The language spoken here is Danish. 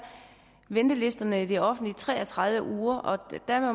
ventelisterne i det offentlige tre og tredive uger og